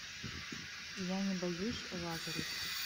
я не боюсь лазарев